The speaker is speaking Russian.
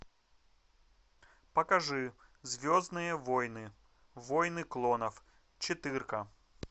покажи звездные войны войны клонов четырка